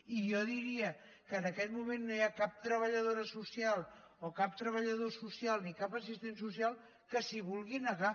i jo diria que en aquest moment no hi ha cap treballadora social o cap treballador social ni cap assistent social que s’hi vulgui negar